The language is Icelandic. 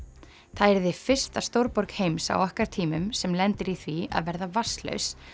það yrði fyrsta stórborg heims á okkar tímum sem lendir í því að verða vatnslaus